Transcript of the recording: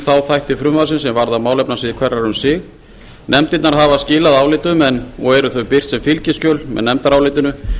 þá þætti frumvarpsins sem varða málefnasvið hverrar um sig nefndirnar hafa skilað álitum og eru þau birt sem fylgiskjöl með nefndarálitinu